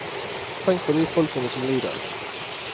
Tenk på de folkene som lider.